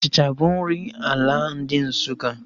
Achịcha bụ nri ala ndị Nsukka